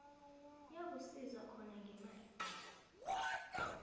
yakusiza khona ngemali